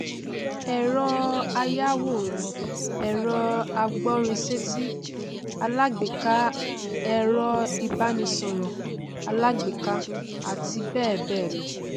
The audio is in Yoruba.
ẹrọ ayàwòrán ẹrọ agbórinsétí alágbèéká ẹrọ ìbánisọrọ alágbèéká ati bẹẹ bẹẹ lọ